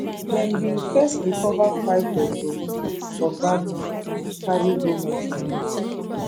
dem bin first recover five deadi bodi for gbagir carry go mortuary